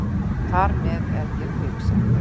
Þar með er ég kviksettur.